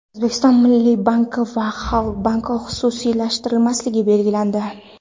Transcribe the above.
O‘zbekistonda Milliy bank va Xalq banki xususiylashtirilmasligi belgilandi.